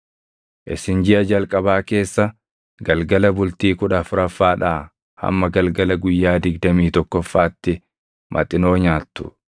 Isin jiʼa jalqabaa keessa galgala bultii kudha afuraffaadhaa hamma galgala guyyaa digdamii tokkoffaatti maxinoo nyaattu.